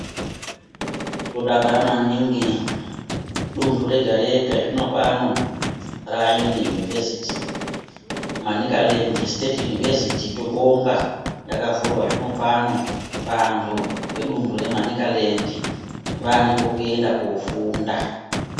Tinodakara maningi, dundu rega rega zvinopano raane yunivhesiti. Manicaland Siteti yunivhesiti tobonga yakavhurwa zvinopano. Vantu vedundu reManicaland vaa nepekuenda kofunda.